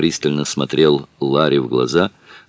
пристально смотрел ларе в глаза